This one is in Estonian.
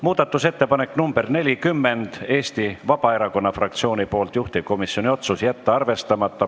Muudatusettepanek nr 40 on Eesti Vabaerakonna fraktsioonilt, juhtivkomisjoni otsus: jätta arvestamata.